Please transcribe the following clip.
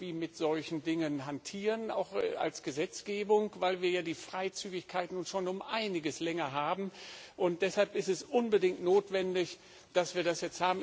mit solchen Dingen hantieren, auch als Gesetzgebung, weil wir ja die Freizügigkeit nun schon um einiges länger haben. Deshalb ist es unbedingt notwendig, dass wir das jetzt haben.